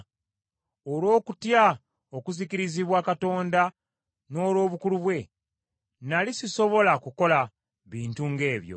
Olw’okutya okuzikirizibwa Katonda n’olw’obukulu bwe, nnali sisobola kukola bintu ng’ebyo.